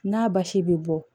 N'a basi bɛ bɔ